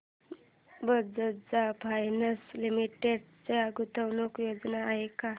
Bajaj finance limited च्या गुंतवणूक योजना आहेत का